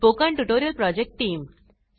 spoken tutorial project team